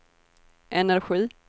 energi